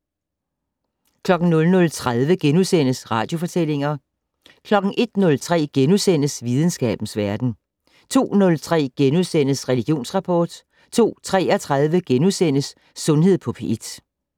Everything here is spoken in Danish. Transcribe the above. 00:30: Radiofortællinger * 01:03: Videnskabens Verden * 02:03: Religionsrapport * 02:33: Sundhed på P1 *